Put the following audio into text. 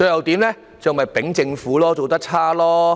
便是罵政府做得差。